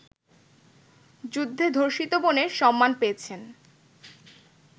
যুদ্ধে ধর্ষিতা বোনের ‘সম্মান’ পেয়েছেন